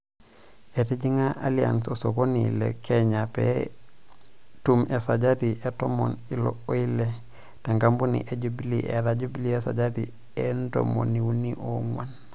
Etijingá Allianz Osokoni le Kenya pee tum esajati e ntomoni ile o ile te nkapuni e Jubilee eeta Jubilee esajati e ntomoni uni oo nguan.